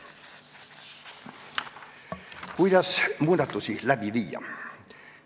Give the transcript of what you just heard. Kuidas muudatusi läbi viia?